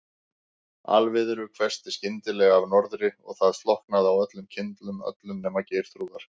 Alviðru hvessti skyndilega af norðri og það slokknaði á öllum kyndlum, öllum nema Geirþrúðar.